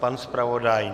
Pan zpravodaj?